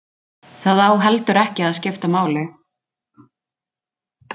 Það á heldur ekki að skipta máli